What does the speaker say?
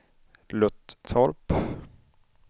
Löttorp